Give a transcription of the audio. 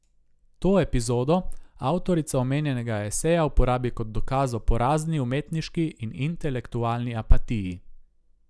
To epizodo avtorica omenjenega eseja uporabi kot dokaz o porazni umetniški in intelektualni apatiji.